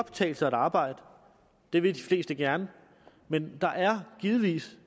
betale sig at arbejde og det vil de fleste gerne men der er givetvis